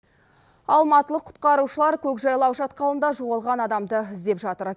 алматылық құтқарушылар көкжайлау шатқалында жоғалған адамды іздеп жатыр